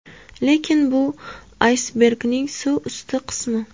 Lekin bu – aysbergning suv usti qismi.